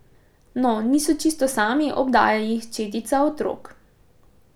No, niso čisto sami, obdaja jih četica otrok.